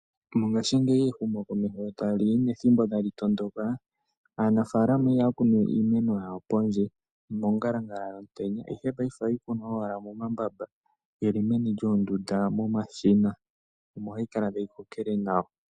Mongashiingeyi ehumo tali ya nethimbo tali tondoka, aanafaalama ihaya kunu we iimeno yawo pendje mongalangala yomutenya ihe paife ohayi kunwa wala momambamba geli meni lyoondunda momashina omo hayi kala tayi kokele nawa.